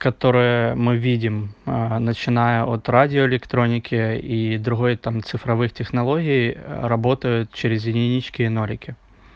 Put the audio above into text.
которая мы видим а начиная от радиоэлектроники и другой там цифровых технологий а работают через единички и нолики